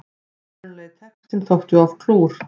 Upprunalegi textinn þótti of klúr